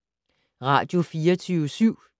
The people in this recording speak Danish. Radio24syv